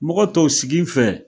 Mɔgɔ tɔw siginfɛ